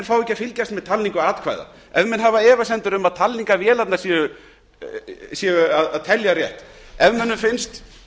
fá ekki að fylgjast með talningu atkvæða ef menn hafa efasemdir um að talningavélarnar séu að telja rétt ef mönnum finnst